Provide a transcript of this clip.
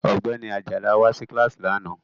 Ọ̀gbẹ́ni Ajala wá sí kíláàsì lánàá